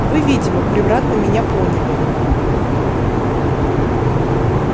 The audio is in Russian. вы видимо превратно меня поняли